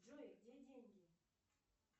джой где деньги